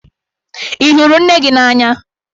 Ị hụrụ nne gị n'anya?